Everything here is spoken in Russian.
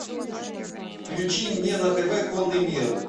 включи мне на тв конный мир